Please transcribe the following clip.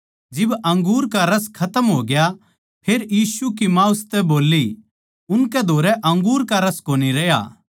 जिब अंगूर का रस खतम होग्या फेर यीशु की माँ उसतै बोल्ली उनकै धोरै अंगूर का रस कोनी रहया